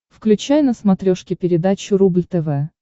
включай на смотрешке передачу рубль тв